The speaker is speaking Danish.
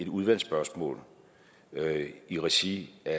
udvalgsspørgsmål i regi af